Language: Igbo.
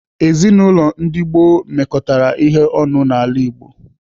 Ezinaụlọ ndi gboo mekọtara ihe ọnụ n'ala Igbo.